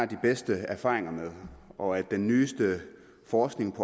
de bedste erfaringer med og at den nyeste forskning